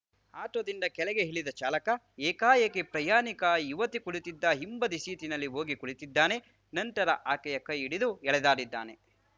ಆಟೋದಿಂದ ಕೆಳಗೆ ಇಳಿದ ಚಾಲಕ ಏಕಾಏಕಿ ಪ್ರಯಾಣಿಕ ಯುವತಿ ಕುಳಿತಿದ್ದ ಹಿಂಬದಿ ಸೀಟಿನಲ್ಲಿ ಹೋಗಿ ಕುಳಿತಿದ್ದಾನೆ ನಂತರ ಆಕೆಯ ಕೈಹಿಡಿದು ಎಳೆದಾಡಿದ್ದಾನೆ